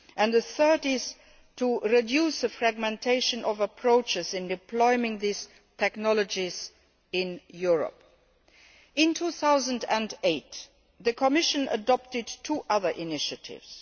The third is to reduce the fragmentation of approaches in deploying these technologies in Europe. In 2008, the Commission adopted two other initiatives.